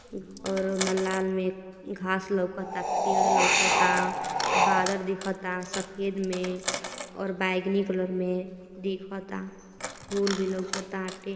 और न लान में घास लौकता पेड़ लौकता। बादर दिखता सफेद में और बैंगनी कलर में दिखता। फूल भी लौकताटे।